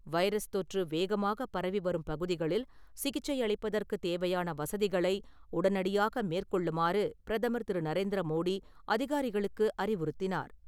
Virus தொற்று வேகமாகப் பரவி வரும் பகுதிகளில் சிகிச்சை அளிப்பதற்கு தேவையான வசதிகளை உடனடியாக மேற்கொள்ளுமாறு பிரதமர் திரு. நரேந்திர மோடி அதிகாரிகளுக்கு அறிவுறுத்தினார்.